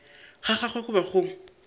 ga gagwe go be go